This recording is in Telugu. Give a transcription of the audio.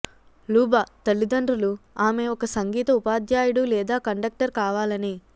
లూబ తల్లిదండ్రులు ఆమె ఒక సంగీత ఉపాధ్యాయుడు లేదా కండక్టర్ కావాలని